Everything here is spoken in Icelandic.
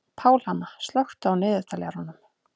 Pálhanna, slökktu á niðurteljaranum.